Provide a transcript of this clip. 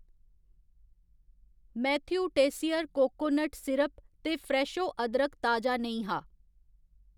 Matthew Tessier coconut syrup ते फ्रैशो अदरक ताजा नेईं हा।